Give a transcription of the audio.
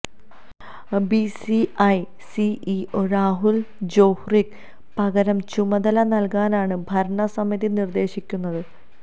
BCI CEO Rahul ജോഹ്രിക്ക് പകരം ചുമതല നല്കാനാണ് ഭരണസമിതി നിര്ദേശിക്കുന്നത്